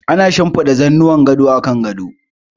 Ana shinfiɗa zannuwan gado a kan gado.